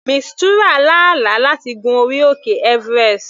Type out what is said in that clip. Mistura lá àlá láti gun orí òkè everest.